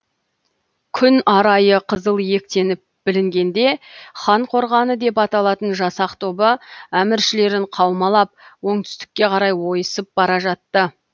күн арайы қызылиектеніп білінгенде хан қорғаны деп аталатын жасақ тобы әміршілерін қаумалап оңтүстікке қарай ойысып бара жатты